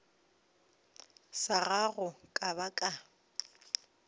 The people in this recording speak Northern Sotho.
sa gago ka ba ka